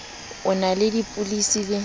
o na le dipholisi le